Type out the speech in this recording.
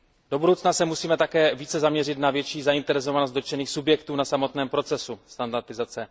Do budoucna se musíme také více zaměřit na větší zainteresovanost dotčených subjektů na samotném procesu standardizace.